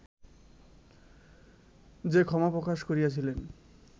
যে ক্ষমা প্রকাশ করিয়াছিলেন